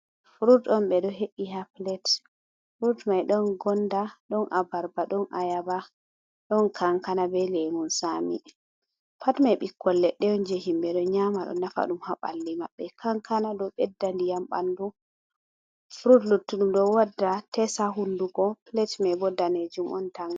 Frut on, ɓe do he’i ha plet. Frut mai ɗon gonda, ɗon abarba, ɗon ayaba, ɗon kankana, be lemun tsaami. Pat mai ɓikkoi leɗɗe on on jei himɓe ɗo nyaama ɗo nafa ɗum ha ɓalli maɓɓe. Kankana ɗo ɓedda ndiyam ɓandu, frut luttuɗum ɗo wadda tes ha hunduko. Plet mai bo daneejum on tal.